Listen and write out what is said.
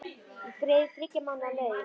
Ég greiði þér þriggja mánaða laun.